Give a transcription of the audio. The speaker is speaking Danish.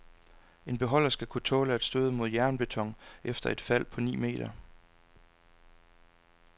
En beholder skal kunne tåle at støde mod jernbeton efter et fald på ni meter.